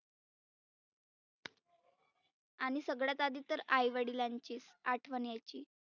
आणि सगळ्यात आधी तर आई वडिलांचीच आठवन यायची.